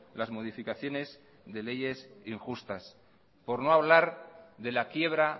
las modificaciones de leyes injustas por no hablar de la quiebra